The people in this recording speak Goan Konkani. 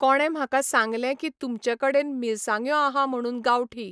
कोणें म्हाका सांगलें की तुमचे कडेन मिरसांग्यो आहा म्हणून गांवठी.